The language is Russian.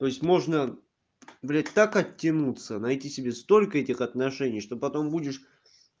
то есть можно блять так оттянуться найти себе столько этих отношений что потом будешь